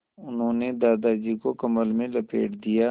उन्होंने दादाजी को कम्बल में लपेट दिया